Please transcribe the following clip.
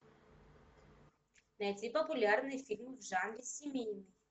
найти популярный фильм в жанре семейный